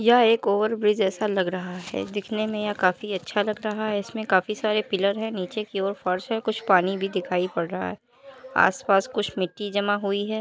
यह एक ओवरब्रिज एैसा लग रहा है दिखने में यह काफी अच्छा लग रहा है इसमें काफी सारे पिलर हैं नीचे की ओर फर्श है कुछ पानी भी दिखाई पड़ रहा है। आस पास कुछ मिट्टी जमा हुई है।